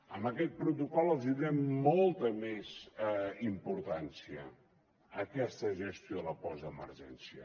amb aquest protocol els donem molta més importància en aquesta gestió de la postemergència